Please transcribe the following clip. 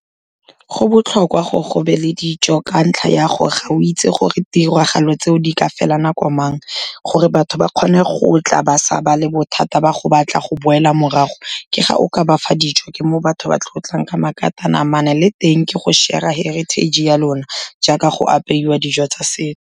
Go botlhokwa gore go be le dijo ka ntlha ya gore ga o itse gore tiragalo tseo di ka fela nako mang, gore batho ba kgone go tla ba sa ba le bothata ba go batla go boela morago, ke ga o ka ba fa dijo, ke mo batho ba tlo tlang ka makatanamane le teng ke go share-a heritage ya lona, jaaka go apeiwa dijo tsa se.